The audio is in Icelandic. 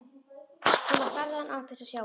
Thomas starði á hann án þess að sjá hann.